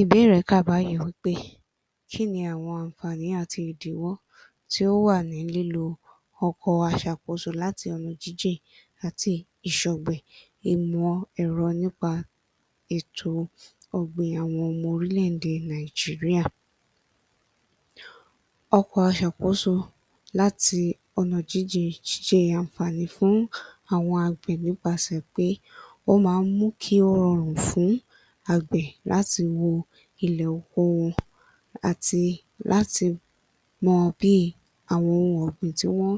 Ìbéèrè kà báyìí wí pé kí ni àwọn ànfààní àti ìdíwọ́ tí ó wà ní lílo ọkọ̀ aṣàkóso láti ọ̀nà jíjìn àti ìṣọ̀gbìn ìmọ̀ ẹ̀rọ nípa ètò ọ̀gbìn àwọn ọmọ orílẹ̀-èdè Nàìjíríà? Ọkọ̀ aṣàkóso láti ọ̀nà jíjín ṣe ànfààní fún àwọn àgbè nípasẹ̀ pé ó máa ń mú kí ó rọrún fún àgbẹ̀ láti wo ilẹ̀ oko wọn àti láti mọ bí àwọn ohun ọ̀gbìn tí wọ́n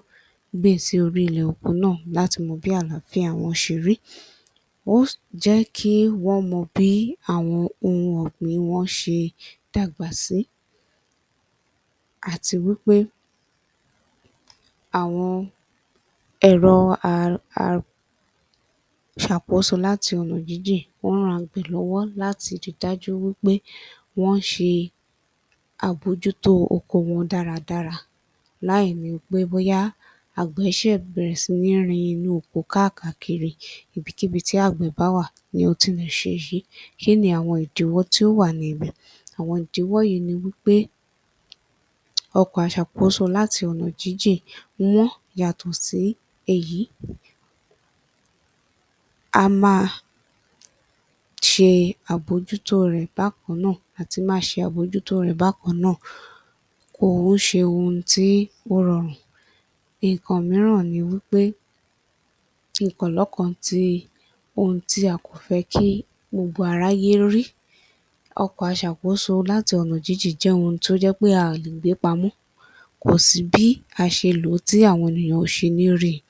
gbìn sí orí ilẹ̀ oko náà láti mọ̀ bí àlááfíà wọn ṣe rí. Ó jẹ́ kí wọ́n mọ bí àwọn ohun ọ̀gbìn wọn ṣe dàgbà sí àti wí pé àwọn ẹ̀rọ [a… a…] aṣàkóso láti ọ̀nà jíjìn wọ́n ran àgbẹ̀ lọ́wọ́ láti ri dájú wí pé wọ́n ń ṣe àbójútó oko wọn dáradára láìnì pé bóyá àgbẹ̀ ṣẹ̀ bẹ̀rẹ̀ sí ní rin inú oko káàkàkiri. Ibikíbi tí àgbẹ̀ bá wà ní ó ti lè ṣe èyí. Kí ni àwọn ìdíwọ́ tí ó wà ní ibẹ̀? Àwọn ìdíwọ́ yìí ni wí pé, ọkọ̀ aṣàkóso láti ọ̀nà jíjìn wọ́n, yàtọ̀ sí èyí [a máa ṣe àbójútó rẹ̀ bákan náà] à ti máa ṣe àbójútó rẹ̀ bákan náà kò ń ṣe ohun tí ó rọrùn. Nǹkan mìíràn ni wí pé, ohun tí a kò fẹ́ kí gbogbo aráyé rí, ọkọ̀ aṣàkóso láti ọ̀nà jíjìn jẹ́ ohun tí ó jẹ́ pé a ò lè gbé pamọ́. Kò sí bí a ṣe lò ó, tí àwọn ènìyàn ò ṣe ní rí i.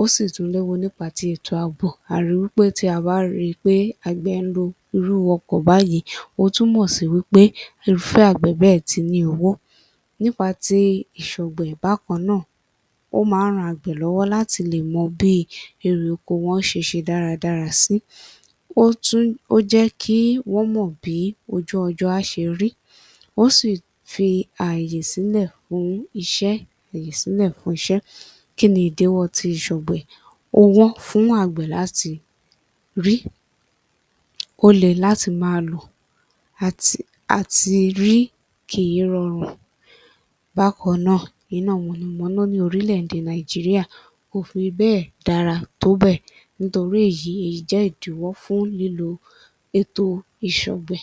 Ó sì tún léwu nípa ti ètò ààbò. A ri wí pé tí a bá ri pé àgbẹ̀ ń lo irú ọkọ̀ báyìí, ó túmọ̀ sí wí pé irúfẹ́ àgbẹ̀ bẹ́ẹ̀ ti ní owó. Nípa ti ìṣọ̀gbìn bákan náà, ó máa ń ran àgbẹ̀ lọ́wọ́ láti lè mọ bí erè oko wọn ṣe ṣe dáradára sí. Ó tún ó jẹ́ kí wọ́n mọ bí ojú ọjọ́ á ṣe rí, ó sì fi ààyè sílẹ̀ fún iṣẹ́ fàyè sílẹ̀ fún iṣẹ́. Kí ni ìdíwọ́ ti ìṣọ̀gbìn? Ó wọ́n fún àgbẹ̀ láti rí, ó le láti máa lò. [Àti…] Àti rí kì í rọrùn, bákan náà, iná mọ̀nàmọ́ná ní orílẹ̀-èdè Nàìjíríà kò fi bẹ́ẹ̀ dára tó bẹ́ẹ̀ nítorí èyí, èyí jẹ́ ìdíwọ́ fún líló ètò ìṣọ̀gbìn.